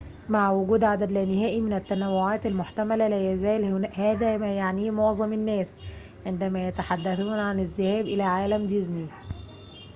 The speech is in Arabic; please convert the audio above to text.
مع وجود عدد لا نهائي من التنوعات المحتملة لا يزال هذا ما يعنيه معظم الناس عندما يتحدثون عن الذهاب إلى عالم ديزني